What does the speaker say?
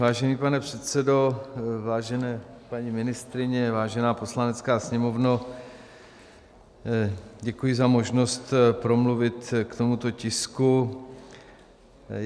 Vážený pane předsedo, vážené paní ministryně, vážená Poslanecká sněmovno, děkuji za možnost promluvit k tomuto tisku.